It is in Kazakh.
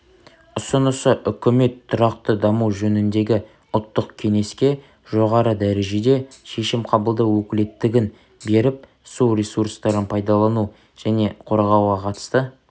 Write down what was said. ұсынысы үкімет тұрақты даму жөніндегі ұлттық кеңеске жоғары дәрежеде шешім қабылдау өкілеттігін беріп су ресурстарын пайдалану және қорғауға қатысты